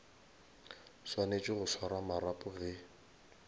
swanetše go swara marapo ge